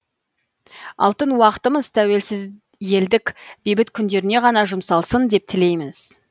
алтын уақытымыз тәуелсіз елдік бейбіт күндеріне ғана жұмсалсын деп тілейміз